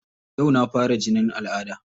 Yau na fara jinin al'adda.